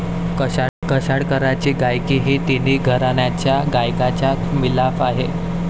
कशाळकरांची गायकी ही तिन्ही घराण्यांच्या गायकाचा मिलाफ आहे.